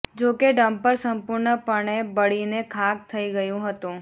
જો કે ડમ્પર સંપૂર્ણ પણે બળીને ખાક થઈ ગયું હતું